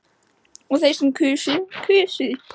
og þeir sem kusu Kusu